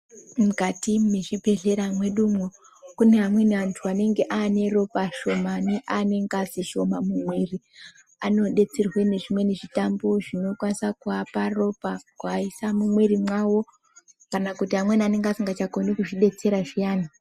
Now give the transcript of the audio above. Mukati mezvibhedhlera medu mo, kune amweni antu anenge aneropa shomani, anengazi shoma mumwiri. Abodetserwe nezvimweni zvitambu zvinokwanisa kuvapa ropa kuvaisa mumwiri mawo, kana kuti amweni anenge asingachakhoni kudetsera zviyana.